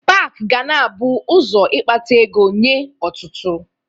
Pak ga na-abụ ụzọ ịkpata ego nye ọtụtụ